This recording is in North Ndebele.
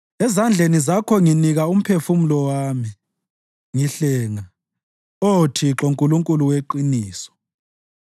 Ezandleni Zakho nginikela umphefumulo wami; ngihlenga, Oh Thixo, Nkulunkulu weqiniso.